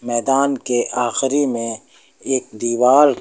मैदान के आखिरी में एक दीवार--